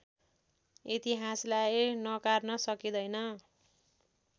इतिहासलाई नकार्न सकिँदैन